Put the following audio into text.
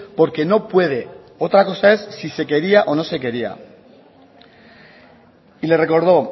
porque no puede otra cosa es si se quería o no se quería y le recordó